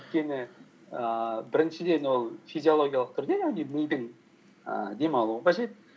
өйткені ііі біріншіден ол физиологиялық түрде яғни мидың і демалуы қажет